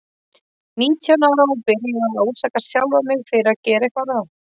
Nítján ára og byrjuð að ásaka sjálfa mig fyrir að gera eitthvað rangt.